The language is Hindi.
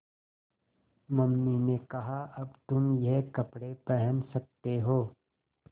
मम्मी ने कहा अब तुम ये कपड़े पहन सकते हो